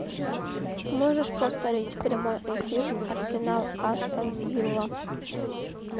можешь повторить прямой эфир арсенал астон вилла